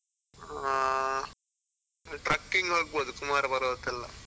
ಹಾ trucking ಹೋಗಬೋದು, ಕುಮಾರ ಪರ್ವತ ಎಲ್ಲ.